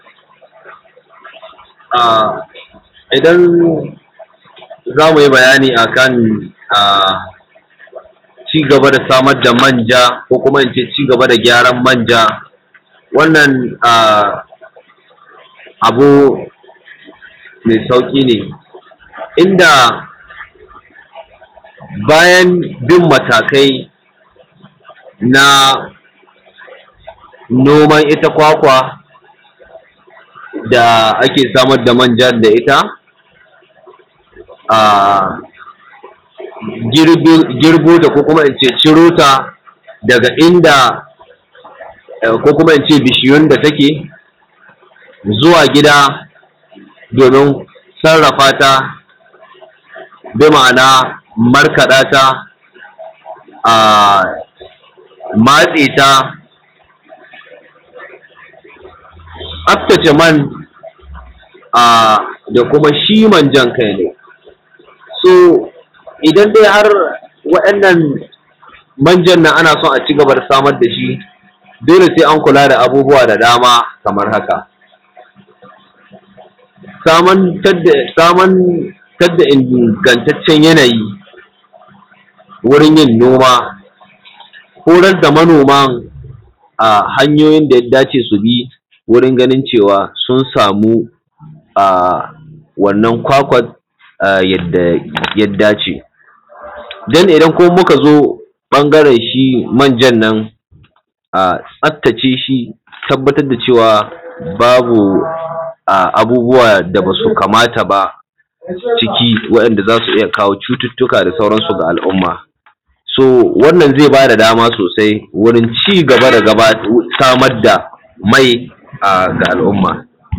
Idan zamu yi bayani a kan cigaba da samar da manja ko kuma in ce cigaba da gyaran manja, abu mai sauƙi ne bayan bin matakai na noman ita kwakwa da ake samar da manjan da ita, girbo ta ko kuma in ce ciro ta daga inda ko kuma ni ce bishiyun da take zuwa gida wurin sarrafa ta, bi ma'ana markaɗata, a matse ta, tsaftace man da kuma shi manjan kan shi. Idan dai har wa'innan manjan nan ana so a cigaba da samar da shi dole sai an kula da abubuwa da dama kamar haka, samar ta ingantatcen yanayi wurin yin noma, horar da manoman hanyoyin da ya dace su bi wurin ganin cewa sun samu wannan kwakwan yadda ya dace, ta yadda idan kuma muka zo ɓangaren shi manjan nan, tsaftace shi, tabbatar da cewa babu abubuwa da ba su kamata ba cikin wa’inda zasu iya kawo cututuka da sauran su ga al'umma. Wannan zai ba da dama sosai wurin cigaba dasamar da mai ga al'umma.